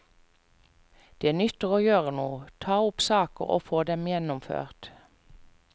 Det nytter å gjøre noe, ta opp saker og få dem gjennomført.